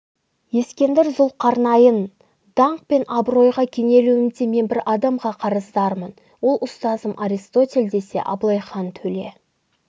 ескендір зұлқарнайын даңқ пен абыройға кенелуімде мен бір адамға қарыздармын ол ұстазым аристотель десе абылайхан төле